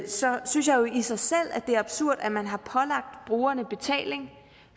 så synes jeg i sig selv at det er absurd at man har pålagt brugerne betaling